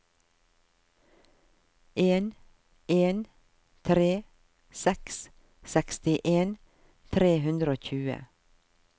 en en tre seks sekstien tre hundre og tjue